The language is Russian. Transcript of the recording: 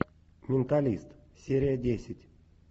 менталист серия десять